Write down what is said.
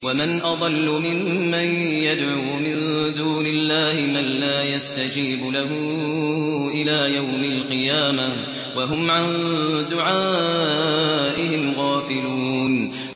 وَمَنْ أَضَلُّ مِمَّن يَدْعُو مِن دُونِ اللَّهِ مَن لَّا يَسْتَجِيبُ لَهُ إِلَىٰ يَوْمِ الْقِيَامَةِ وَهُمْ عَن دُعَائِهِمْ غَافِلُونَ